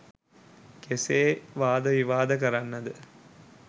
කෙසේ වාද විවාද කරන්නද?